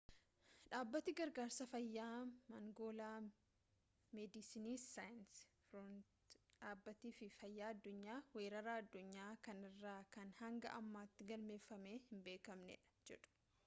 dhaabbati gargaarsa fayyaa mangoolaa meediisinisi saans firoontiirsii fi dhaabbati fayyaa addunyaa weerara addunyaa kanarraa kan hanga ammaatti galmeeffamee hinbeeknedha jedhu